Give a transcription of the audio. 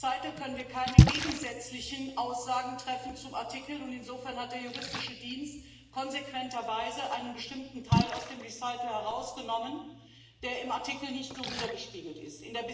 In der Erwägung können wir keine gegensätzlichen Aussagen treffen zum Artikel. Insofern hat der Juristische Dienst konsequenterweise einen bestimmten Teil aus der Erwägung herausgenommen, der im Artikel nicht so widergespiegelt ist.